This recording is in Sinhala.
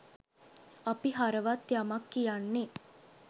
අපි හරවත් යමක් කියන්නේ